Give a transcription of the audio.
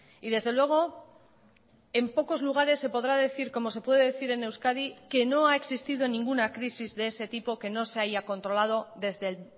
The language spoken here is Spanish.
y desde luego en pocos lugares se podrá decir como se puede decir en euskadi que no ha existido ninguna crisis de ese tipo que no se haya controlado desde el